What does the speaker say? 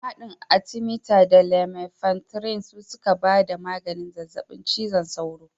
Haɗin atimita da lumefantirin su suka ba da maganin zazzaɓin cizon sauro